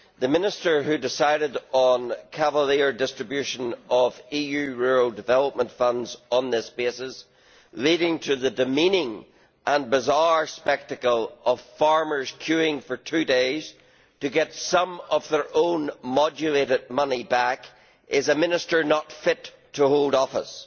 The minister who decided on cavalier distribution of EU rural development funds on this basis, leading to the demeaning and bizarre spectacle of farmers queuing for two days to get some of their own modulated money back, is a minister not fit to hold office.